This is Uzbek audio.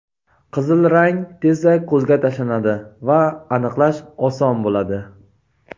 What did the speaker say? Qizil rang tezda ko‘zga tashlanadi va aniqlash oson bo‘ladi.